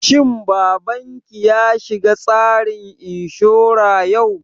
Shin babanki ya shiga tsarin inshura yau?